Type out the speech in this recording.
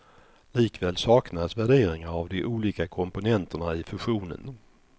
Likväl saknas värderingar av de olika komponenterna i fusionen.